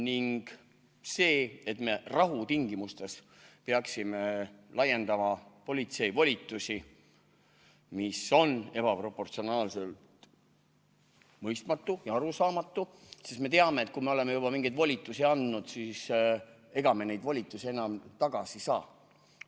Ning see, et me rahu tingimustes peaksime laiendama politsei volitusi, on ebaproportsionaalselt mõistmatu ja arusaamatu, sest me teame, et kui me oleme juba mingeid volitusi andnud, siis ega me neid volitusi enam tagasi ei saa.